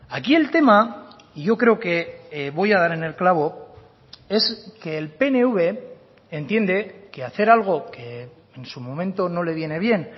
aquí el tema y yo creo que voy a dar en el clavo es que el pnv entiende que hacer algo que en su momento no le viene bien